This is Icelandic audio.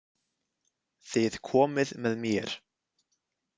Þið komið með mér